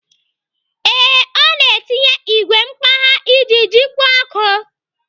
Ee, ọ na-etinye igwe mkpagha iji jikwa ọkụ.